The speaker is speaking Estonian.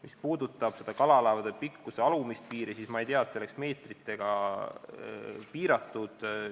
Mis puudutab kalalaevade pikkuse alumist piiri, siis ma ei tea, et see oleks meetritega piiratud.